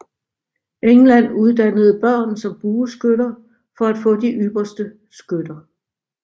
England uddannede børn som bueskytter for at få de ypperste skytter